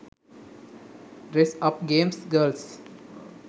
dress up games girls